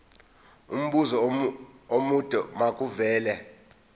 umbuzo omude makuvele